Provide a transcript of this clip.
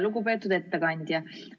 Lugupeetud ettekandja!